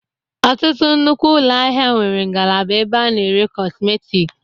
Ọtụtụ nnukwu ụlọ ahịa nwere ngalaba ebe ana-ere kọsmetik.